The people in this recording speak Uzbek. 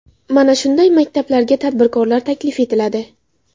Mana shunday maktablarga tadbirkorlar taklif etiladi.